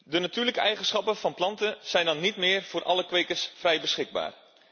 De natuurlijke eigenschappen van planten zijn dan niet meer voor alle kwekers vrij beschikbaar.